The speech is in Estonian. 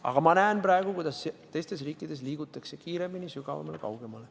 Aga ma praegu näen, kuidas teistes riikides liigutakse kiiremini, sügavamale ja kaugemale.